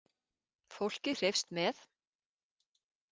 Fólkið hreifst með.